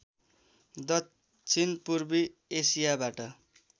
दक्षिण पूर्वी एसियाबाट